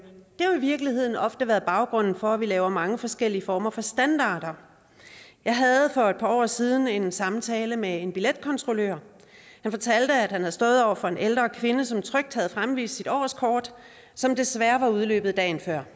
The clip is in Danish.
virkeligheden ofte været baggrunden for at vi har lavet mange forskellige former for standarder jeg havde for et par år siden en samtale med en billetkontrollør som fortalte at han havde stået over for en ældre kvinde som trygt havde fremvist sit årskort som desværre var udløbet dagen før